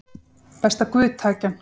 Best að guð taki hann